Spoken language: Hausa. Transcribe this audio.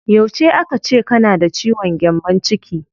Yauce aka ce kana da ciwon gyambon ciki?